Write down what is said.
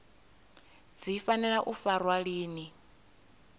dzi fanela u farwa lini